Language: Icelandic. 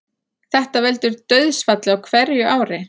Þetta veldur dauðsfalli á hverju ári